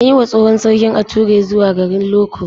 An yi wa tsohon sarki ature zuwa garin Loko.